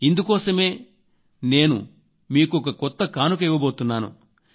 అందుకోసమే నేను మీకొక కొత్త కానుక ఇవ్వబోతున్నాను